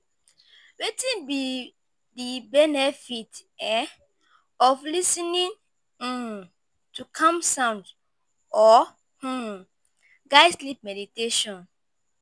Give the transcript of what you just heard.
wetin be di benefit um of lis ten ing um to calm sounds or um guide sleep meditation?